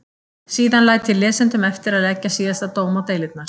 Síðan læt ég lesendum eftir að leggja síðasta dóm á deilurnar.